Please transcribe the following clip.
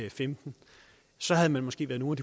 og femten så havde man måske været nogle